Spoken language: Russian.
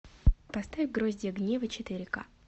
поставь гроздья гнева четыре ка